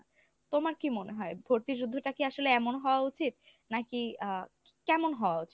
তোমার কী মনে হয়? ভর্তি যুদ্ধটা কি আসলে এমন হওয়া উচিত? নাকি আ কেমন হওয়া উচিত?